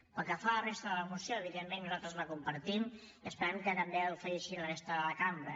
pel que fa a la resta de la moció evidentment nosaltres la compartim i esperem que també ho faci així la resta de la cambra